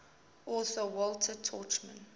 author walter tuchman